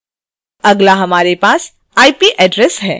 अगला हमारे पास ip address है